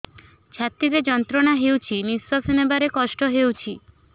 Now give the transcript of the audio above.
ଛାତି ରେ ଯନ୍ତ୍ରଣା ହେଉଛି ନିଶ୍ଵାସ ନେବାର କଷ୍ଟ ହେଉଛି